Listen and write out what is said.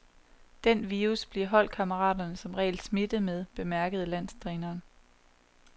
Den virus bliver holdkammeraterne som regel smittet med, bemærkede landstræneren.